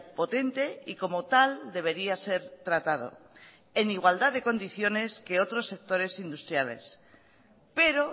potente y como tal debería ser tratado en igualdad de condiciones que otros sectores industriales pero